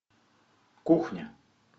кухня